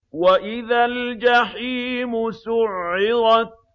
وَإِذَا الْجَحِيمُ سُعِّرَتْ